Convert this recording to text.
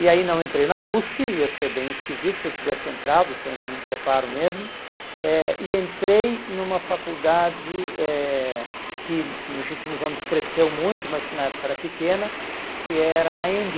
E aí não entrei na USP, ia ser bem esquisito se eu tivesse entrado, sem nenhum preparo mesmo, eh e entrei numa faculdade eh que nos últimos anos cresceu muito, mas que na época era pequena, que era na Anhembi.